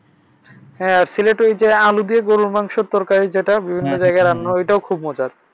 হ্যাঁ সিলেট ঐযে আলু দিয়ে গুরুর মাংসের তরকারি যেটা বিভিন্ন জায়গায় রান্না হয় ঐটা ও খুব মজার।